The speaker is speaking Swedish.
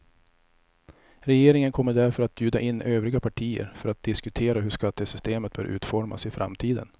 Regeringen kommer därför att bjuda in övriga partier för att diskutera hur skattesystemet bör utformas i framtiden.